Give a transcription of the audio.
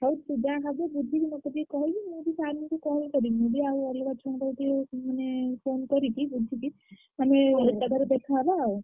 ହଉ ତୁ ଯାହା ହବ ବୁଝିକି ମତେ ଟିକେ କହିବୁ। ମୁଁବି sir ଙ୍କୁ call କରିବି। ମୁଁ ବି ଆଉ ଅଲଗା ଛୁଆଙ୍କ ପାଖକୁ ଟିକେ ମାନେ phone କରିକି ବୁଝିକି ମାନେ ଏକାଥରେ ଦେଖହବା ଆଉ।